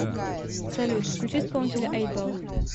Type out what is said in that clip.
салют включи исполнителя эйтбол